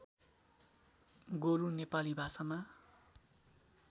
गोरु नेपाली भाषामा